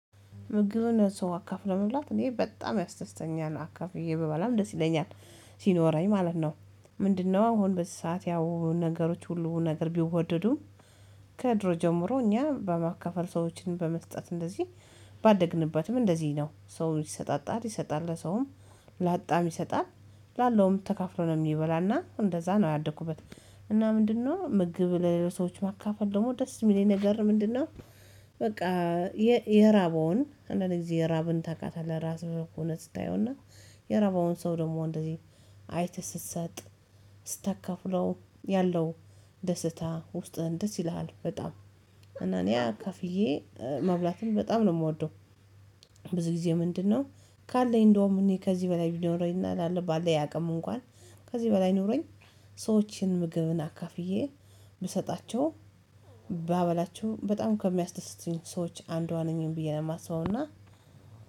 ምግብን ለሰው አካፍሎ መብላት እኔ በጣም ያስደስተኛል አካፍዬ ብበላም ደስ ይለኛል ሲኖረኝ ማለት ነው። ምንድነው? አሁን በዚህ ሰዓት ያው ነገሮች ሁሉ ነገር ቢወደዱም። ከድሮ ጀምሮ እኛ በማካፈል ሰዎችን በመስጠት እንደዚህ ባደግንበትም እንደዚህ ነው ሰው ይሰጣጣል ይሰጣል ለሰውም ላጣም ይሰጣል ላለውም ተካፍሎ ነው የሚበላና እንደዛ ነው ያደኩበት። እና ምንድነው ምግብ ለሌሎች ሰዎች ማካፈል ደግሞ ደስ የሚለኝ ነገር ምንድነው? በቃ የራበውን አንዳንድ ጊዜ የራብን ታውቃታለህ ራስህን ሆነህ ስታየውና። የራበውን ሰው ደግሞ እንደዚህ አይተህ ስትሰጥ ስታከፍለው ያለው ደስታ ውስጥህን ደስ ይለሃል። በጣም እና እኔ አካፍዬ መብላትም በጣም ነው የምወደው። ብዙ ጊዜ ምንድነው? ካለኝ እንደውም እኔ ከዚህ በላይ ቢኖረኝና ባለኝ አቅም እንኳን ከዚህ በላይ ኖሮኝ ሰዎችን ምግብን አካፍዬ ብሰጣቸው ባበላቸው በጣም ከሚያስደስቱኝ ሰዎች አንዷ ነኝ ብዬ ነው የማስበውና